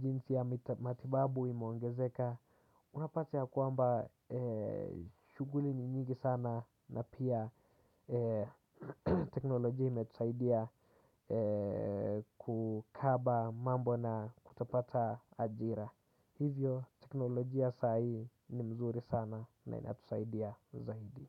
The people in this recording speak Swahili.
jinsi ya matibabu imeongezeka. Unapata yakwamba shughuli ni nyingi sana na pia teknolojia imetusaidia kukaba mambo na kutopata ajira. Hivyo teknolojia ya sa hii ni mzuri sana na inatusaidia zaidi.